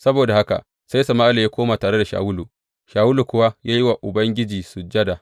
Saboda haka sai Sama’ila ya koma tare da Shawulu, Shawulu kuwa ya yi wa Ubangiji sujada.